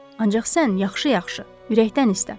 Ancaq sən yaxşı-yaxşı ürəkdən istə!